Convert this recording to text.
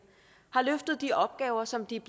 har løftet de opgaver som de